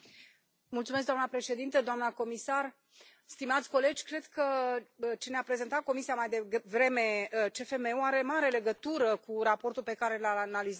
Doamnă președintă, doamnă comisar, stimați colegi, cred că ce ne a prezentat Comisia mai devreme, CFM ul, are mare legătură cu raportul pe care îl analizăm acum.